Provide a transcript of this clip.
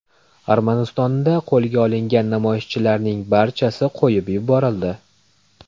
Armanistonda qo‘lga olingan namoyishchilarning barchasi qo‘yib yuborildi.